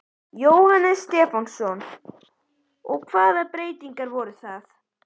Jóhannes Stefánsson: Og hvaða breytingar voru það?